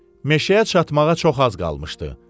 Meşəyə çatmağa çox az qalmışdı.